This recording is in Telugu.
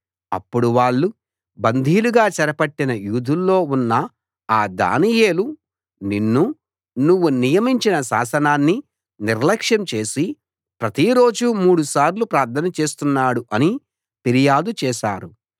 అప్పుడు వాళ్ళు బందీలుగా చెరపట్టిన యూదుల్లో ఉన్న ఆ దానియేలు నిన్నూ నువ్వు నియమించిన శాసనాన్నీ నిర్లక్ష్యం చేసి ప్రతిరోజూ మూడుసార్లు ప్రార్థన చేస్తున్నాడు అని ఫిర్యాదు చేశారు